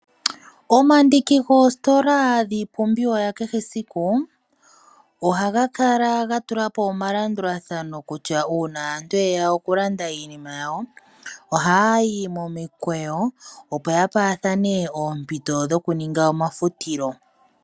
Omandiki goositola dhii pumbiwa ya kehe esiku, oga kala ga tulapo omalandulathano kutya uuna aantu yrya okulanda iinima yawo oha ya yi momikweyo opo ya pewa thene oompito dho kuninga omafutilo.